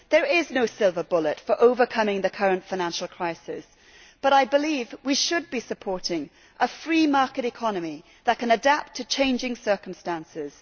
There is no silver bullet for overcoming the current financial crisis, but I believe we should be supporting a free market economy that can adapt to changing circumstances.